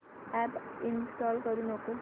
app install करू नको